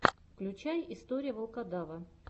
включай история волкодава